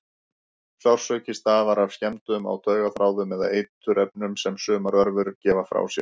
Sársauki stafar af skemmdum á taugaþráðum eða af eiturefnum sem sumar örverur gefa frá sér.